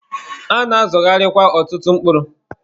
A na-azọgharịkwa ọtụtụ mkpụrụ.